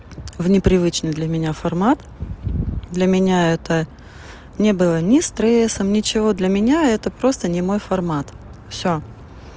в непривычной для меня формат для меня это не было ни стрессом ничего для меня это просто не мой формат все